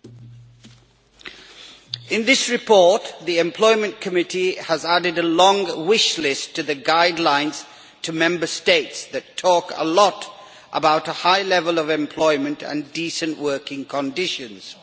Mr President, in this report the Committee on Employment and Social Affairs has added a long wish list to the guidelines to Member States that talks a lot about a high level of employment and decent working conditions.